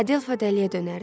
Adelfa dəliyə dönərdi.